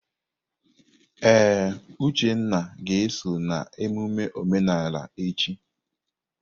Ee, Uchenna ga-eso na emume omenala echi.